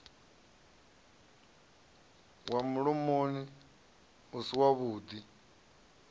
wa mulomoni u si wavhuḓi